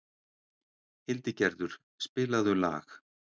Hildigerður, spilaðu lag.